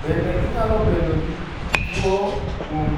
Bende ginyalo bedo gi tuo kuom